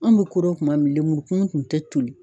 Anw bɛ ko dɔ kuma min, lemurukumun kun tɛ toli.